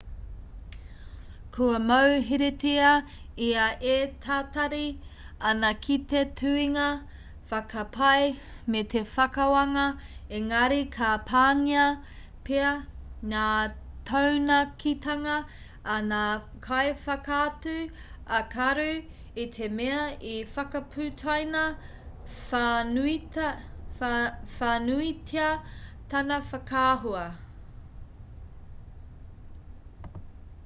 kua mauheretia ia e tatari ana ki te tuhinga whakapae me te whakawānga engari ka pāngia pea ngā taunakitanga a ngā kaiwhakaatu ā-karu i te mea i whakaputaina whānuitia tana whakaahua